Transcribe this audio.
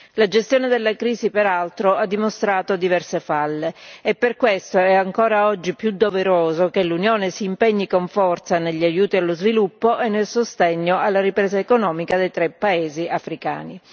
La gestione della crisi, peraltro, ha dimostrato diverse falle e per questo è oggi ancora più doveroso che l'Unione si impegni con forza negli aiuti allo sviluppo e nel sostegno alla ripresa economica dei tre paesi africani.